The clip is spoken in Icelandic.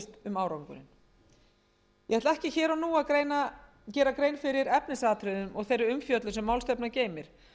um árangurinn ég ætla ekki hér og nú að reyna að gera grein fyrir efnisatriðum og þeirri umfjöllun sem málstefnan geymir